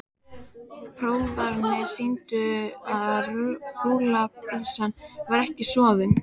Prófanir sýndu að rúllupylsan var ekki soðin.